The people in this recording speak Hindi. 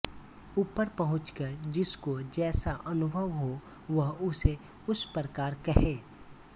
ऊपर पहुँचकर जिसको जैसा अनुभव हो वह उसे उस प्रकार कहे